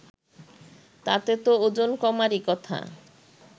তাতে তো ওজন কমারই কথা